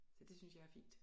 Så det synes jeg er fint